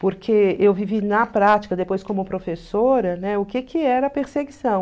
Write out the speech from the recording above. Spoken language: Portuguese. Porque eu vivi na prática, depois como professora, né, o que que era perseguição?